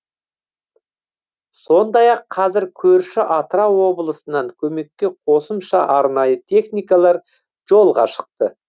сондай ақ қазір көрші атырау облысынан көмекке қосымша арнайы техникалар жолға шықты